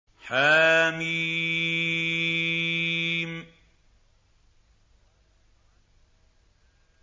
حم